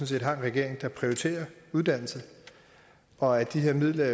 set har en regering der prioriterer uddannelse og at de her midler